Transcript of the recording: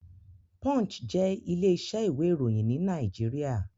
Punch jé ilé isẹ́ ìwé ìròyìn ní Naijiria